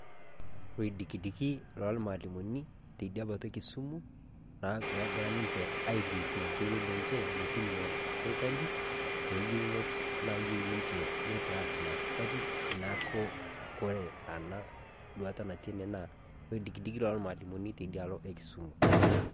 Loidikidiki lo mwalimuni tedia mbaata e kisumu ogiraa ninchee aileepe otoiyoo lenchee metining'o sirikali too yuunot naiyeu ninchee nitaas enia sirikali. Naaku kore anaa duata natii enee loidikidiki lo mwalimuni tedia aloo e Kisumu.